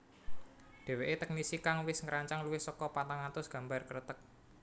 Dheweke teknisi kang wis ngrancang luwih saka patang atus gambar Kreteg